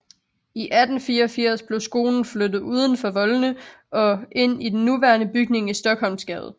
I 1884 blev skolen flyttet uden for voldene og ind i den nuværende bygning i Stockholmsgade